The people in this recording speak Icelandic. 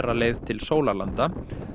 leið til sólarlanda